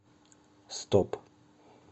стоп